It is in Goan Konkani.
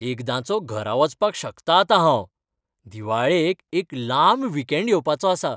एकदांचो घरा वचपाक शकतां आतां हांव दिवाळेक एक लांब वीकेंड येवपाचो आसा.